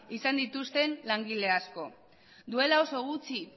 izan dituzten langile asko duela oso gutxi